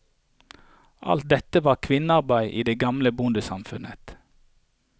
Alt dette var kvinnearbeid i det gamle bondesamfunnet.